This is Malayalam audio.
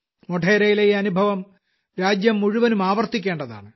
മോഢേരയിലെ ഈ അനുഭവം രാജ്യം മുഴുവനും ആവർത്തിക്കേണ്ടതാണ്